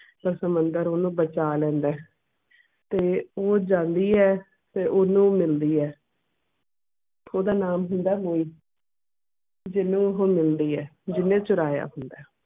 ਪਰ ਸਮੁੰਦਰ ਓਹਨੂੰ ਬਚਾ ਲੈਂਦਾ ਐ ਤੇ ਉਹ ਜਾਂਦੀ ਐ ਤੇ ਓਹਨੂੰ ਮਿਲਦੀ ਐ ਓਹਦਾ ਨਾਮ ਹੁੰਦਾ ਐ ਮੋਈ। ਜਿਹਨੂੰ ਮਿਲਦੀ ਐ ਜਿਹਨੇ ਉਹ ਚੁਰਾਇਆ ਹੁੰਦਾ ਆ